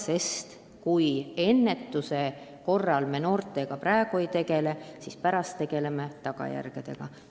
Sest kui me noortega praegu ei tegele, siis pärast tegeleme tagajärgedega.